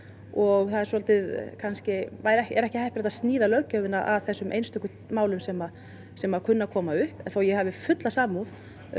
og það er ekki heppilegt að sníða löggjöfina að þessum einstöku málum sem sem kunna að koma upp þó ég hafi fulla samúð